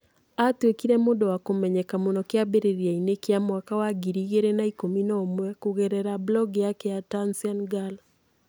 Aatuĩkire mũndũ wa kũmenyeka mũno kĩambĩrĩriainĩ kĩa mwaka wa ngiri igirina ikumi na umwe kũgerera blog yake ya Tunsian Girl.